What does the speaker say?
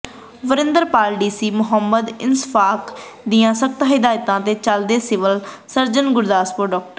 ਵਰਿੰਦਰਪਾਲਡੀਸੀ ਮੁਹੰਮਦ ਇਸ਼ਫਾਕ ਦੀਆਂ ਸਖਤ ਹਦਾਇਤਾਂ ਤੇ ਚੱਲਦਿਆਂ ਸਿਵਲ ਸਰਜਨ ਗੁਰਦਾਸਪੁਰ ਡਾ